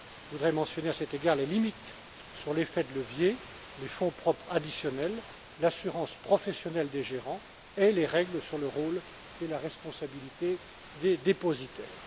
Je voudrais mentionner à cet égard les limites sur l'effet de levier, les fonds propres additionnels, l'assurance professionnelle des gérants et les règles sur le rôle et la responsabilité des dépositaires.